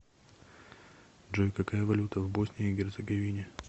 джой какая валюта в боснии и герцеговине